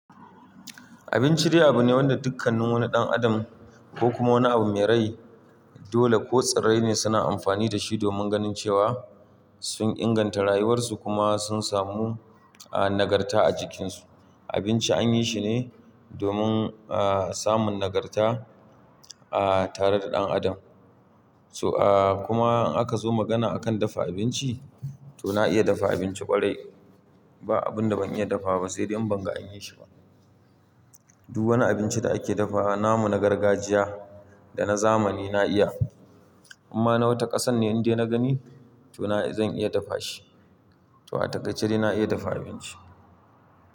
Abinci dai abu ne wanda dukkanin wani ɗan adam ko kuma wani abu mai rai dole ko tsirrai ne suna amfani da shi domin ganin cewa sun inganta rayuwarsu kuma sun samu, ah, nagarta a jikinsu. Abinci an yi shi ne domin, ah, samun nagarta, ah, tare da ɗan adam. So, ah, kuma in aka zo magana a kan dafa abinci to na iya dafa abinci ƙwarai. Ba abun da ban iya dafawa ba sai dai in ban ga an yi shi ba. Du wani abinci da ake dafawa namu na gargajiya da na zamani na iya. Inma na wata ƙasan ne indai na gani to na, zan iya dafa shi. To a takaice dai na iya dafa abinci.